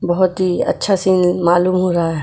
बहुत ही अच्छा सीन मालूम हो रहा है।